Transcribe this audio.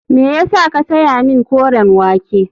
Me ya sa ka saya min koren wake.